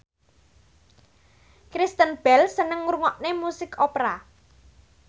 Kristen Bell seneng ngrungokne musik opera